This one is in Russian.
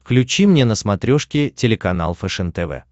включи мне на смотрешке телеканал фэшен тв